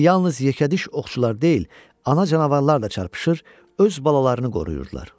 İndi yalnız yekədiş oxçular deyil, ana canavarlar da çarpışır, öz balalarını qoruyurdular.